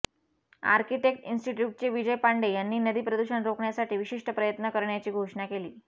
architect इन्स्टिट्यूटचे विजय पांडे यांनी नदी प्रदूषण रोखण्यासाठी विशिष्ट प्रयत्न करण्याची घोषणा केली